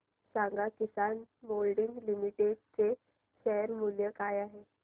सांगा Kisan moulding limited चे share मूल्य काय आहे